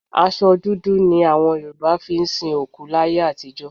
Aṣọ dúdú ni àwọn Yorùbá fi ń sin òkú láyé àtijọ́